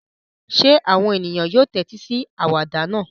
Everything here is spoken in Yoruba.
Ṣé àwọn ènìyàn yóò tẹ́tí sí àwàdà náà?